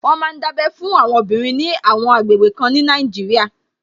Wọ́n ma ń dábẹ́ fún àwọn obìnrin ní àwọn àgbègbè kan ní Nàìjíríà